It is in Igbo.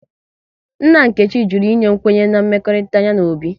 Nna Nkechi jụrụ ịnye kwenye na mmekọrịta ya na Obi